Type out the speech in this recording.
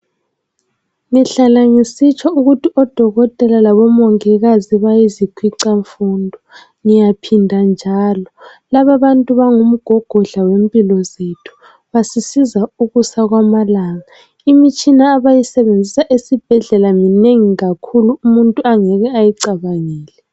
Ngihlala ngisitsho ukuthi odokotela labomongikazi yizikhwicamfundo ngiyaphinda njalo. Lababantu bangumgogodla wempilo zethu. Basisiza ukusa kwamalanga. Imitshina abayisebenzisa esibhedlela iminengi kakhulu umuntu angeke ayicabangele.